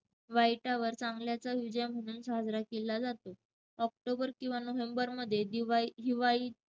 वाईटावर चांगल्याचा विजय म्हणून साजरा केला जातो. ऑक्टोबर किंवा नोव्हेंबरमध्ये दिवाळी~ हिवाळी~